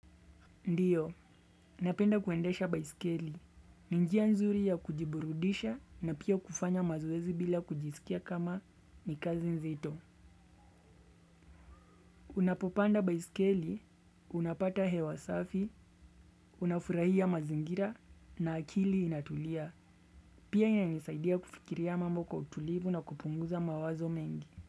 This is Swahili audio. Ndiyo, napenda kuendesha baiskeli, ni njia nzuri ya kujiburudisha na pia kufanya mazoezi bila kujisikia kama ni kazi nzito. Unapopanda baiskeli, unapata hewa safi, unafurahia mazingira na akili inatulia, pia inanisaidia kufikiria mambo kwa utulivu na kupunguza mawazo mengi.